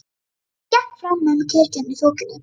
Hann gekk fram með kirkjunni í þokunni.